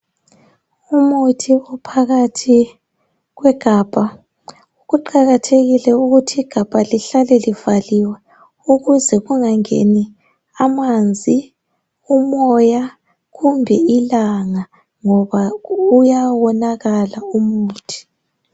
Umuthi uphakathi kwegabha kuqakathekile ukuthi igabha lihlale livaliwe ukuze kunga ngeni amanzi, ilanga, umoya ngoba uyawonakala umuthi.